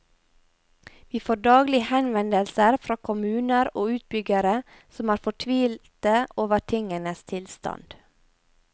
Vi får daglig henvendelser fra kommuner og utbyggere som er fortvilte over tingenes tilstand.